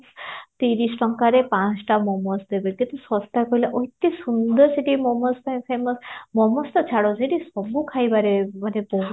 ତିରିଶଟଙ୍କାରେ ପାଞ୍ଚଟା ମୋମୋସ ଦେବେ କେତେ ଶସ୍ତା କହିଲ ଅତି ସୁନ୍ଦର ସେଠି ମୋମୋସ ପାଇଁ famous ମୋମୋସ ତ ଛାଡ ସେହତି ସବୁ ଖାଇବାରେ ମାନେ ବହୁତ